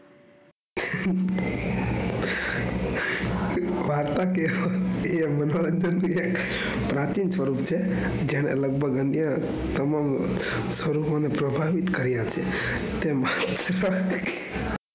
વાર્તા કેહવા એ પ્રાચીન સ્વરૂપ છે જેને લગભગ અહીંયા તમામ સ્વરૂપોને પ્રભાવિત કર્યા છે.